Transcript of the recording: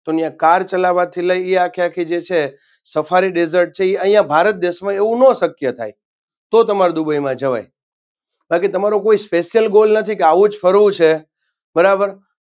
તોન યા car ચલાવાથી લઈને આખેઆખી જે છે સફારી desert છે એ અહિયાં ભારત દેશમાં એવું નો શક્ય થાય તો તમાર દુબઈમાં જવાય કારણકે તમારો કોઈ Special Goal નથી કે આવોજ ફરવું છે બરાબર